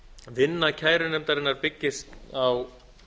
vinna kærunefndarinnar byggist á